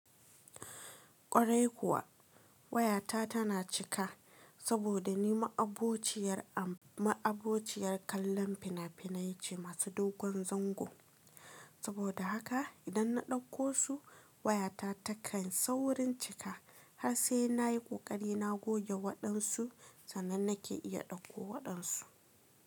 Kwarai kuwa, wayata tana cika saboda ni ma'abociyar, ma'abociyar kallon fina-finai ce masu dogon zango. Saboda haka idan na ɗauko su, wayata takan saurin cika har sai na yi ƙoƙari na goge waɗansu sannan nake iya ɗauko waɗansu.